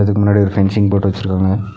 இதுக்கு முன்னாடி ஒரு ஃபென்சிங் போட்டு வச்சிருக்காங்க.